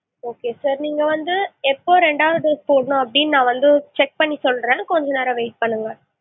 okay sir நீங்க வந்து எப்போ ரெண்டாவது dose போடலாம் அப்படின்னு நான் வந்து check பண்ணி சொல்றேன் கொஞ்ச நேரம் wait பண்ணுங்க.